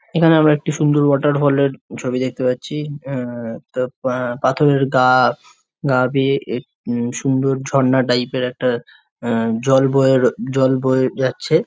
এখানে আমরা সুন্দর ওয়াটার ফল এর ছবি দেখতে পাচ্ছি। এ তো এ পাথরের গা-আ গা বেয়ে এ সুন্দর ঝরনা টাইপ এর একটা আ জল বয়ে জল বয়ে যাচ্ছে।